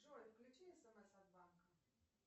джой включи смс от банка